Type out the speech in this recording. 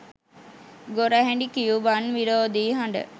ගොරහැඩි Cuban විරෝධී හඬ